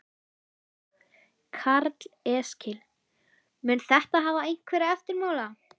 Karl Eskil: Mun þetta hafa einhverja eftirmála?